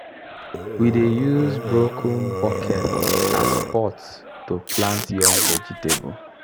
we dey use broken bucket as pot to plant young vegetable